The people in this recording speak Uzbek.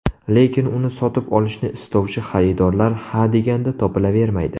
Lekin uni sotib olishni istovchi xaridorlar ha deganda topilavermaydi.